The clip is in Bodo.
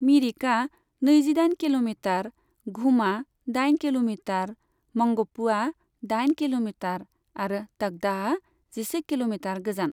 मिरिकआ नैजिदाइन किल'मिटार, घुमआ दाइन किल'मिटार, मंगपुआ दाइन किल'मिटार आरो तकदाहआ जिसे किल'मिटार गोजान।